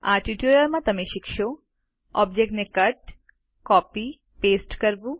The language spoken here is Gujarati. આ ટ્યુટોરીયલમાં તમે શીખશો ઓબ્જેક્ટને કટ કોપી પાસ્તે કરવું